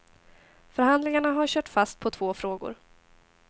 Förhandlingarna har kört fast på två frågor.